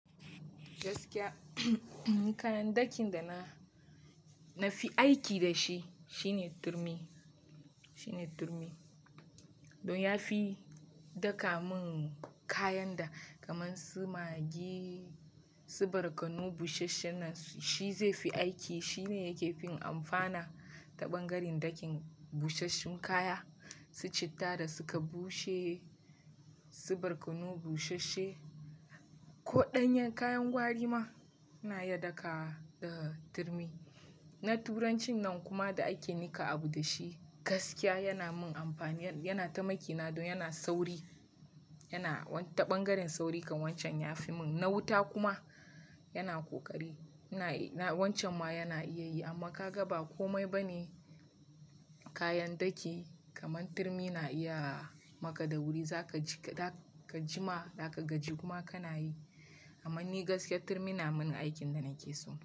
Gaskiya, ni kayan ɗakin da na fi aiki da shi shine turmi. Don ya fi daka mun kayan da kamar su magi, su barkono busasshen nan shi zai fi aiki. Shine yake fin amfana ta ɓangaren ɗakin busasshen kaya, su citta da suka bushe, su barkono busashe ko ɗanyar kayan gwari ma ina iya dakawa da turmi. Na turancin nan kuma da ake niƙa abu dashi gaskiya yana mun amfani, yana taimaki na don yana sauri. Yana ta ɓangaren sauri kan wancan ya fi mun, na wuta kuma yana ƙoƙari. Wancan ma yana iya yi amma ka ga ba komai ba ne kayan ɗaki kamar turmi na iya maka da wuri zakaji. Za ka jima, zaka gaji kuma kana yi. Amma ni gaskiya turmi na mun aikin da nake so.